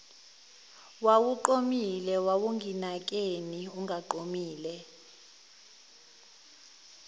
wawuqomile wawunginakeni ungaqomile